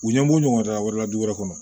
U ɲɛ b'u ɲɔgɔn da wɛrɛ la du wɛrɛ kɔnɔ